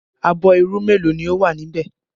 Abọ́ irú mélòó ni ó wà níbẹ̀?